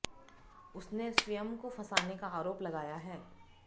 उसने स्वयं को फँसाने का आरोप लगाया है